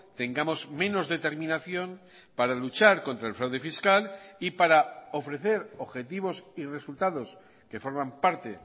tengamos menos determinación para luchar contra el fraude fiscal y para ofrecer objetivos y resultados que forman parte